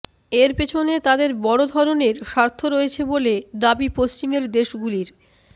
এর পেছনে তাদের বড় ধরণের স্বার্থ রয়েছে বলে দাবি পশ্চিমের দেশগুলির